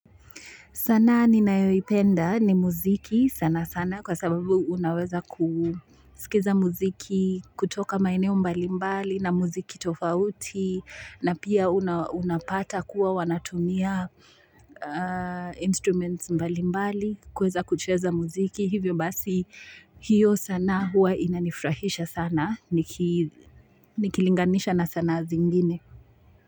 Sanaa ninayoipenda ni muziki sana sana kwa sababu unaweza kusikiza muziki kutoka maeneo mbalimbali na muziki tofauti na pia unapata kuwa wanatumia instruments mbali mbali kuweza kucheza muziki. Hivyo basi hiyo sanaa huwa inanifurahisha sana nikilinganisha na sanaa zingine.